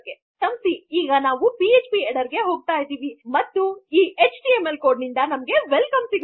ಕ್ಷಮಿಸಿ ಈಗ ನಾವು ಪಿಎಚ್ಪಿ ಹೆಡ್ಡರ್ ಗೆ ಹೋಗುತ್ತಿವಿ ಮತ್ತು ನಮಗೆ ವೆಲ್ಕಮ್